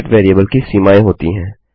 gate variable की सीमाएँ होती हैं